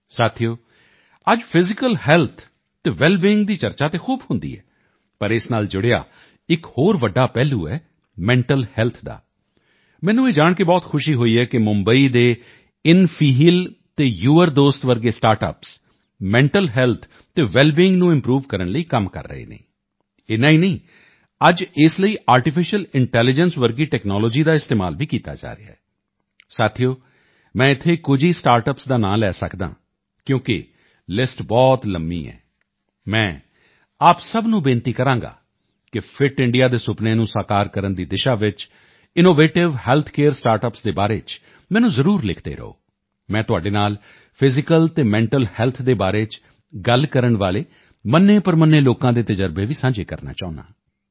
ਸਾਥੀਓ ਅੱਜ physical health ਅਤੇ ਵੈਲਬੀਈਂਗ ਦੀ ਚਰਚਾ ਤਾਂ ਖੂਬ ਹੁੰਦੀ ਹੈ ਪਰ ਇਸ ਨਾਲ ਜੁੜਿਆ ਇੱਕ ਹੋਰ ਵੱਡਾ ਪਹਿਲੂ ਹੈ ਮੈਂਟਲ ਹੈਲਥ ਦਾ ਮੈਨੂੰ ਇਹ ਜਾਣ ਕੇ ਬਹੁਤ ਖੁਸ਼ੀ ਹੋਈ ਹੈ ਕਿ ਮੁੰਬਈ ਦੇ ਇਨਫੀਹੀਲ ਅਤੇ ਯੂਅਰ ਦੋਸਤ ਵਰਗੇ ਸਟਾਰਟਅੱਪਸ ਮੈਂਟਲ ਹੈਲਥ ਅਤੇ ਵੈਲ ਬੀਂਗ ਨੂੰ ਇੰਪਰੂਵ ਕਰਨ ਲਈ ਕੰਮ ਕਰ ਰਹੇ ਹਨ ਇੰਨਾ ਹੀ ਨਹੀਂ ਅੱਜ ਇਸ ਲਈ ਆਰਟੀਫੀਸ਼ਲ ਇੰਟੈਲੀਜੈਂਸ ਵਰਗੀ ਟੈਕਨੋਲੋਜੀ ਦਾ ਇਸਤੇਮਾਲ ਵੀ ਕੀਤਾ ਜਾ ਰਿਹਾ ਹੈ ਸਾਥੀਓ ਮੈਂ ਇੱਥੇ ਕੁਝ ਹੀ ਸਟਾਰਟਅੱਪਸ ਦਾ ਨਾਂ ਲੈ ਸਕਦਾ ਹਾਂ ਕਿਉਂਕਿ ਲਿਸਟ ਬਹੁਤ ਲੰਬੀ ਹੈ ਮੈਂ ਆਪ ਸਭ ਨੂੰ ਬੇਨਤੀ ਕਰਾਂਗਾ ਕਿ ਫਿਟ ਇੰਡੀਆ ਦੇ ਸੁਪਨੇ ਨੂੰ ਸਾਕਾਰ ਕਰਨ ਦੀ ਦਿਸ਼ਾ ਚ ਇਨੋਵੇਟਿਵ ਹੈਲਥ ਕੇਅਰ ਸਟਾਰਟਅੱਪਸ ਦੇ ਬਾਰੇ ਚ ਮੈਨੂੰ ਜ਼ਰੂਰ ਲਿਖਦੇ ਰਹੋ ਮੈਂ ਤੁਹਾਡੇ ਨਾਲ ਫਿਜ਼ੀਕਲ ਅਤੇ ਮੈਂਟਲ ਹੈਲਥ ਦੇ ਬਾਰੇ ਚ ਗੱਲ ਕਰਨ ਵਾਲੇ ਮੰਨੇਪ੍ਰਮੰਨੇ ਲੋਕਾਂ ਦੇ ਤਜ਼ਰਬੇ ਵੀ ਸਾਂਝੇ ਕਰਨਾ ਚਾਹੁੰਦਾ ਹਾਂ